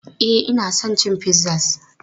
E, ina son cin pizzas.